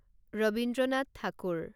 Rabindranath Thakur